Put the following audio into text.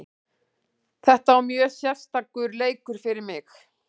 Þetta var mjög sérstakur leikur fyrir mig.